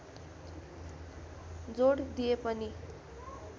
जोड दिए पनि